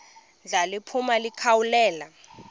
ndla liphuma likhawulele